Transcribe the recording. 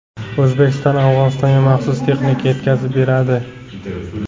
O‘zbekiston Afg‘onistonga maxsus texnika yetkazib beradi.